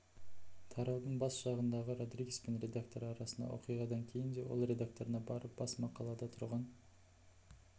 тараудың бас жағындағы родригес пен редакторы арасындағы оқиғадан кейін де ол редакторына барып бас мақалада тұрған